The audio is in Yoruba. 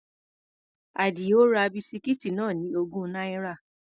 Àdìó ra bisikíìtì náà ní ogún náírà.